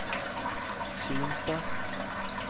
Kimstad